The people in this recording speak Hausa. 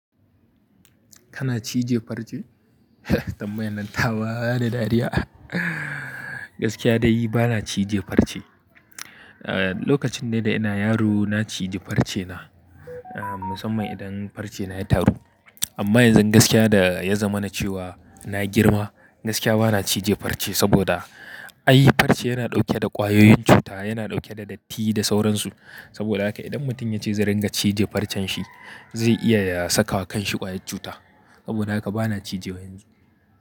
Kana cije farce? Tambayan nan ta ba da dariya. Gaskiya dai bana cije farce. Ah, lokacin da ina yaro na cije farce na, ah, musamman idan farce na ya taru. Amma yanzu gaskiya da ya zama na cewa na girma, gaskiya bana cije farce saboda ai farce yana dauke da ƙwayoyin cuta, yana dauke da datti da sauransu. Saboda haka idan mutum ya ce zai ringa cije farcen shi, zai iya ya sakawa kan shi ƙwayar cuta. Saboda haka bana cije wa yanzu.